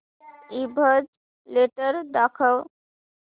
ईबझ लेटेस्ट दाखव